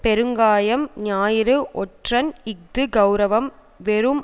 பெருங்காயம் ஞாயிறு ஒற்றன் இஃது கெளரவம் வெறும்